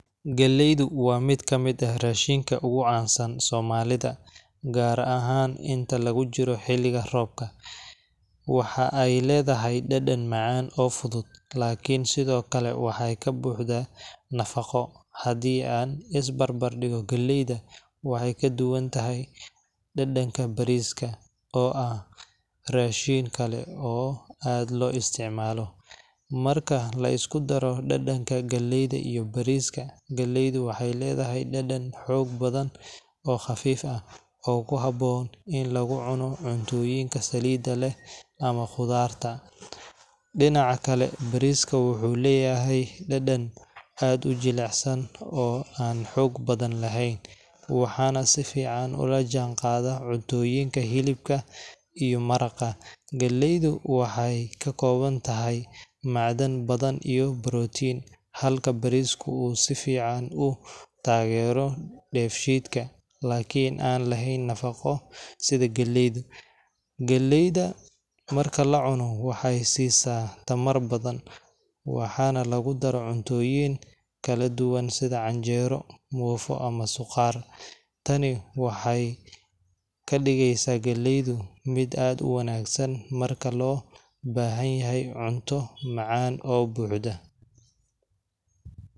Galleydu waa mid ka mid ah raashinka ugu caansan ee Soomaalida, gaar ahaan inta lagu jiro xilliga roobka. waxa ay leedahay dhadhan macaan oo fudud, laakiin sidoo kale waxay ka buuxdaa nafaqo. Haddii aan isbarbardhigno, galleydu waxay ka duwan tahay dhadhanka bariiska, oo ah raashin kale oo aad loo isticmaalo .Marka la isku daro dhadhanka galleyda iyo bariiska, galleydu waxay leedahay dhadhan xoog badan oo khafiif ah, oo ku habboon in lagu cuno cuntooyinka saliidda leh ama khudaarta. Dhinaca kale, bariisku wuxuu leeyahay dhadhan aad u jilicsan, oo aan xoog badan lahayn, waxaana si fiican ula jaanqaada cuntooyinka hilibka iyo maraqa. Galleydu waxay ka kooban tahay macdan badan iyo borotiin, halka bariisku uu si fiican u taageero dheefshiidka, laakiin aan lahayn nafaqo sida galleyda. Galleyda marka la cuno waxay siisaa tamar badan, waxaana lagu daro cuntooyin kala duwan sida canjeero, muufo, ama suqaar. Tani waxay ka dhigeysaa galleyda mid aad u wanaagsan marka loo baahan yahay cunto macaan oo buuxda.